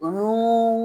Olu